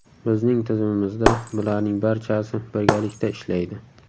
Bizning tizimimizda bularning barchasi birgalikda ishlaydi.